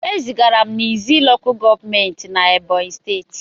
E zigara m na Izzi LGA na Ebonyi steeti.